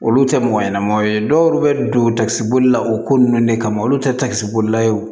Olu tɛ mɔgɔ ɲɛnɛmaw ye dɔw bɛ don takisibolilaw o ko ninnu de kama olu tɛ takisi bolila wo